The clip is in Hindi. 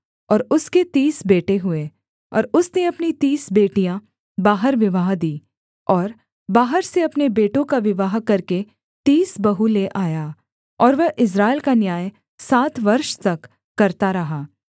और उसके तीस बेटे हुए और उसने अपनी तीस बेटियाँ बाहर विवाह दीं और बाहर से अपने बेटों का विवाह करके तीस बहू ले आया और वह इस्राएल का न्याय सात वर्ष तक करता रहा